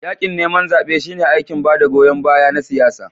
Yaƙin neman zaɓe shine aikin ba da goyon baya na siyasa.